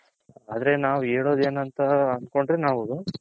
ಆದ್ರೆ ನಾವು ಹೆಲ್ಲೋದ್ ಎನ್ ಅಂತ ಅನ್ತ್ಕೊಂಡರೆ ನಾವು